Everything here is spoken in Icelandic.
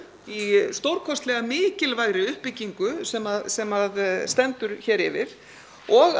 í stórkostlega mikilvægri uppbyggingu sem sem stendur hér yfir og